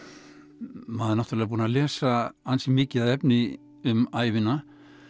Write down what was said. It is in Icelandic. maður er náttúrulega búinn að lesa ansi mikið af efni um ævina